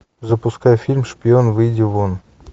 запускай фильм шпион выйди вон